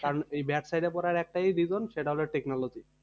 কারণ এই bad side এ পড়ার একটাই reason সেটা হলো technology